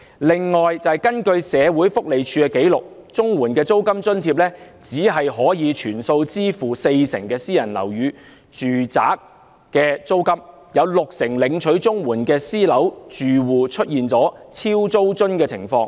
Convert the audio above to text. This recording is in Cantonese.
此外，根據社署的紀錄，綜援的租金津貼只可全數支付四成領取綜援人士租用私人樓宇住宅的租金，導致六成領取綜援的私樓住戶出現"超租津"的情況。